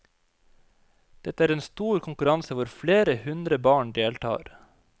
Dette er en stor konkurranse hvor flere hundre barn deltar.